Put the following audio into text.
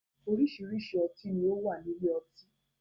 Oríṣiríṣi ọtí ni ó wà ní ilé ọtí